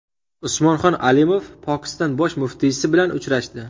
Usmonxon Alimov Pokiston bosh muftiysi bilan uchrashdi.